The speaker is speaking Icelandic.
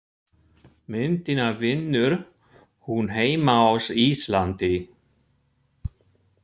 Myndina vinnur hún heima á Íslandi.